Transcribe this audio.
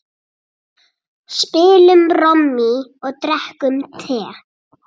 Spilum Rommý og drekkum te.